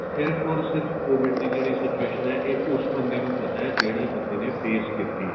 ਸਿਰਫ਼ or ਸਿਰਫ਼ COVID ਦੀ ਜਿਹੜੀ situation ਆ ਏ ਉਸ ਬੰਦੇ ਨੂੰ ਪਤਾ ਏ ਜਿਹੜੇ ਬੰਦੇ ਨੇ face ਕੀਤੀ ਏ